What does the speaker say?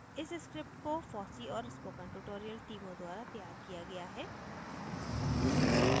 इस script को fossee और spoken tutorial टीमों द्वारा तैयार किया गया है